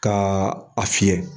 Kaa a fiyɛ.